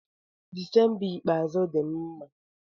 Dịsemba ikpeazụ dị m mma.